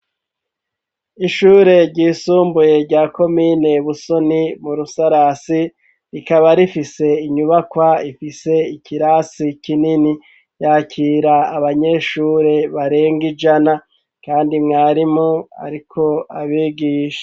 Ishure ry'isumbuye rya komine Busoni mu rusarasi rikaba rifise inyubakwa ifise ikirasi kinini yakira abanyeshure barenga ijana kandi mwarimu ariko abigisha.